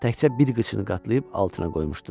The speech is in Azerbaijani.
Təkcə bir qıçını qatlayıb altına qoymuşdu.